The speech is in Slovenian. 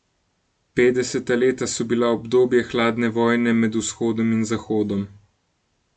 Petdeseta leta so bila obdobje hladne vojne med Vzhodom in Zahodom.